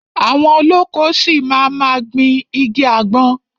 Àwọn olóko ṣi máa ma gbìn igi àgbọn.